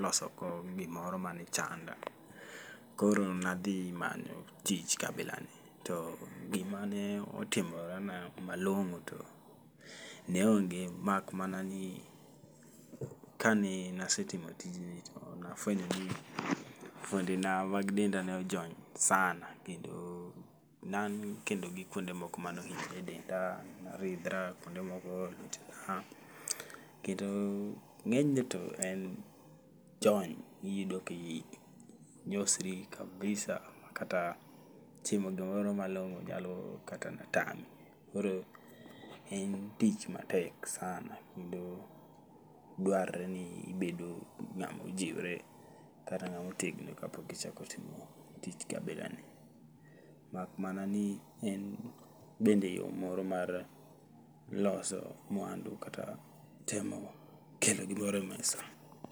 losogo gimoro mane chanda. Koro nadhi manyo tich kabila ni, to gima ne otimorena malong'o to ne onge. Mak mana ni ka ne nasetimo tijni to nafwenyo ni fuonde na mag denda nojony sana. Kendo naan kendo gi kuonde moko manohinyre e denda, naridhra, kuonde moko lit ha. Kendo ng'enyne to en jony, iyudo ka inyosri kabisa makata chiemo gimoro malong'o nyalo kata na tami. Koro en tich matek sana, kendo dwar re ni ibedo ng'amo jiwre kata ng'amo tegno kapok ichako timo tich kabila ni. Mak mana ni en bende yo moro mar loso mwandu kata temo keto gimoro e mesa.